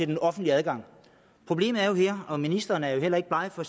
den offentlige adgang problemet er jo og ministeren er jo ikke bleg for